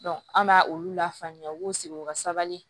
an b'a olu lafaamuya u b'u sigi u ka sabali